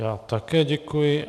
Já také děkuji.